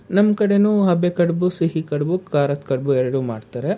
ನಮ್ ಕಡೆನೂ ಹಬೆ ಕಡುಬು ಸಿಹಿ ಕಡುಬು ಕಾರ ಕಡುಬು ಎರಡು ಮಾಡ್ತಾರೆ.